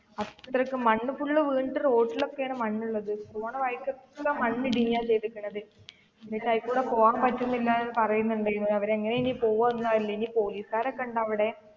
അത്രക്കും മണ്ണ് full വീണിട്ട് road ൽ ഒക്കെ ആണ് മണ്ണുള്ളത് പോണ വഴിക്ക് ഒക്കെ മണ്ണ് ഇടിഞ്ഞ ചെയ്തിരിക്കുന്നത്, എന്നിട്ട് അതിലെകുടെ പോകാൻ പറ്റില്ല എന്ന് പറയുന്നുണ്ടായിരുന്നു, അവര് എങ്ങനെയാ ഇനി പോകുവാ എന്ന് അറിയില്ല ഇനി പോലീസുകാരൊക്കെ ഒക്കെ ഉണ്ടോ അവിടെ,